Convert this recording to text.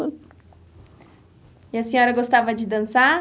E a senhora gostava de dançar?